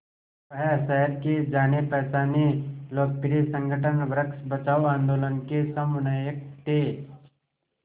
वह शहर के जानेपहचाने लोकप्रिय संगठन वृक्ष बचाओ आंदोलन के समन्वयक थे